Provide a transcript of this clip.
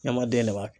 Ɲamaden de b'a